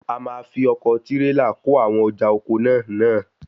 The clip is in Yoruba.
A máa fi ọkọ̀ tírélà kó àwọn ọjà oko náà náà.